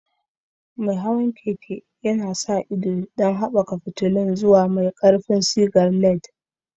Mai hawan keke yana sa ido don haɓaka fitilun zuwa mafi ƙarfin sigar LED.